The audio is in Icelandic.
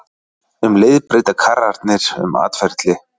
Um leið breyta karrarnir um atferli.